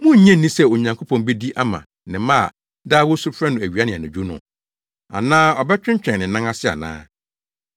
Munnnye nni sɛ Onyankopɔn bedi ama ne mma a daa wosu frɛ no awia ne anadwo no? Anaa ɔbɛtwentwɛn ne nan ase anaa?